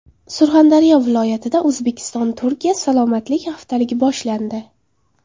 Surxondaryo viloyatida O‘zbekiston Turkiya salomatlik haftaligi boshlandi.